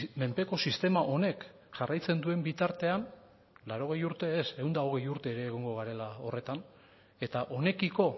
menpeko sistema honek jarraitzen duen bitartean laurogei urte ez ehun eta hogei urte ere egongo garela horretan eta honekiko